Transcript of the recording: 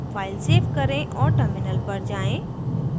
file save करें और terminal पर जाएँ